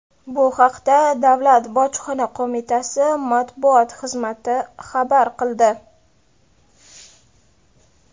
Bu haqda davlat bojxona qo‘mitasi matbuot xizmati xabar qildi .